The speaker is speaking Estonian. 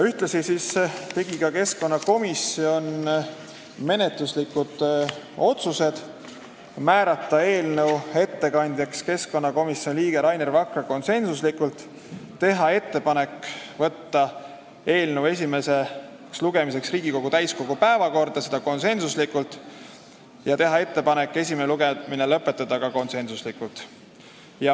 Ühtlasi tegi keskkonnakomisjon menetluslikud otsused: määrata eelnõu ettekandjaks keskkonnakomisjoni liige Rainer Vakra , teha ettepanek saata eelnõu esimeseks lugemiseks Riigikogu täiskogu päevakorda ja teha ettepanek esimene lugemine lõpetada .